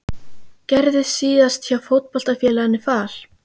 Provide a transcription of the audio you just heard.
Gerðist síðast hjá Fótboltafélaginu Fal?